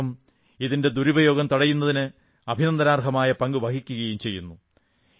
അതോടൊപ്പം ഇതിന്റെ ദുരുപയോഗം തടയുന്നതിന് അഭിനന്ദനാർഹമായ പങ്ക് വഹിക്കുകയും ചെയ്യുന്നു